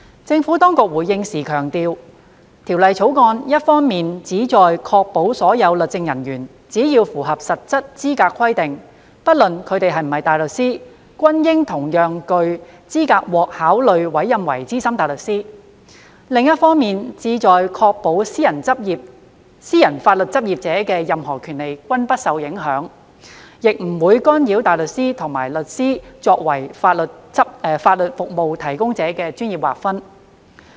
政府當局回應時強調，《條例草案》一方面旨在確保所有律政人員只要符合實質資格規定，不論他們是否大律師，均應同樣具資格獲考慮委任為資深大律師；另一方面旨在確保私人法律執業者的任何權利均不受影響，亦不會干擾大律師與律師作為法律服務提供者的專業劃分。